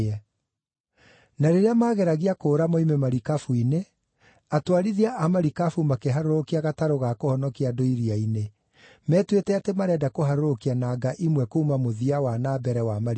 Na rĩĩrĩa maageragia kũũra moime marikabu-inĩ, atwarithia a marikabu makĩharũrũkia gatarũ ga kũhonokia andũ iria-inĩ, metuĩte atĩ marenda kũharũrũkia nanga imwe kuuma mũthia wa na mbere wa marikabu.